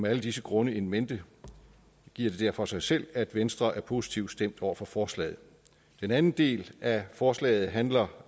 alle disse grunde in mente giver det derfor sig selv at venstre er positivt stemt over for forslaget den anden del af forslaget handler